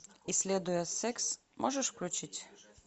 исследуя секс можешь включить